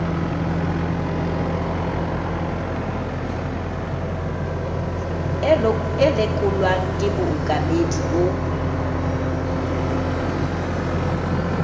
e lekolwang ke bookamedi bo